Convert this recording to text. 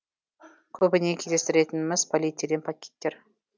көбіне кездестіретініміз полиэтилен пакеттер